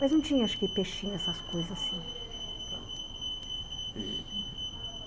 Mas não tinha, acho que, peixinho, essas coisas assim, tá. E